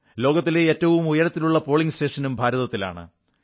ലോകത്തിൽ ഏറ്റവും ഉയരത്തിലുള്ള പോളിംഗ് സ്റ്റേഷനും ഭാരതത്തിലാണ്